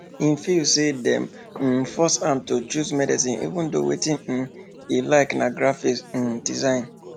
him feel say dem dey um force am to choose medicine even though wetin um e like na graphic um design